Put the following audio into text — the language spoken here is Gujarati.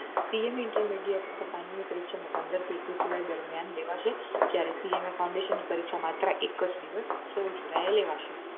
CA ની intermediate અને ફાઈનલ ની પરીક્ષા પંદર થી એકવીસ જુલાઈ દરમિયાન લેવાશે જયારે CA મા foundation ની પરીક્ષા માત્ર એક જ દિવસ સોળ જુલાઈ એ લેવાશે